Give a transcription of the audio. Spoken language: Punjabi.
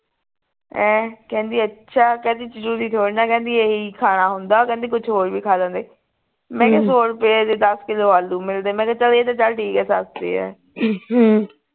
ਹੈਂ ਕਹਿੰਦੀ ਅੱਛਾ ਕਹਿੰਦੀ ਜਰੂਰੀ ਥੋੜੀ ਨਾ ਹੈ ਕਹਿੰਦੀ ਇਹੀ ਖਾਣਾ ਹੁੰਦਾ ਕਹਿੰਦੀ ਕੁਛ ਹੋਰ ਵੀ ਖਾ ਲੈਂਦੇ ਮੈਂ ਕਿਹਾ ਸੋ ਰੁਪਏ ਦੇ ਦੱਸ ਕਿਲੋ ਆਲੂ ਮਿਲਦੇ ਮੈਂ ਕਿਹਾ ਇਹ ਤਾਂ ਚੱਲ ਠੀਕ ਹੈ ਸਸਤੇ ਹੈ